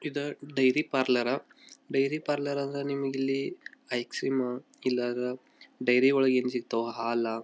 ಈದ dairy parlour dairy parlour ಅಲ್ಲಿ ನಿಮಗ ಇಲ್ಲಿ ಐಕ್ಸೀಮ ಇಲಾರ ಡೈರಿ ಒಳಗ ಏನ್ ಸಿಕ್ಕತವ ಹಾಲ --